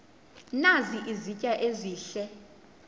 nazi izitya ezihle